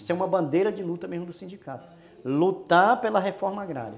Isso é uma bandeira de luta mesmo do sindicato, lutar pela reforma agrária.